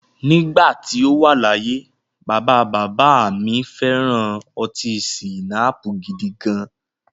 Nígbà tí o wà láyé, bàbá bàbá à mi fẹ̀ran ọtí schnapps gidigan.